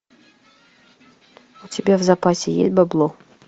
у тебя в запасе есть бабло